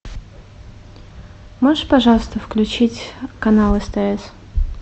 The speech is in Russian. можешь пожалуйста включить канал стс